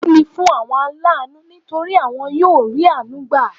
Ìbùkún ni fún àwọn aláànú nítorí won yóò rí àánú gbà